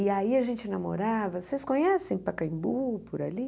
E aí a gente namorava, vocês conhecem Pacaembu por ali?